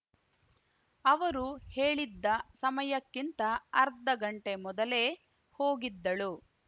ಅವರು ಹೇಳಿದ್ದ ಸಮಯಕ್ಕಿಂತ ಅರ್ಧಗಂಟೆ ಮೊದಲೇ ಹೋಗಿದ್ದಳು